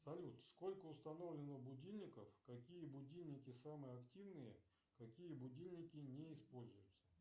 салют сколько установлено будильников какие будильники самые активные какие будильники не используются